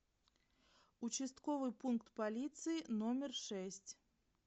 участковый пункт полиции номер шесть